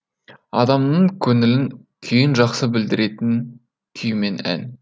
адамның көңілінің күйін жақсы білдіретін күй мен ән